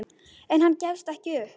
En hann gefst ekki upp.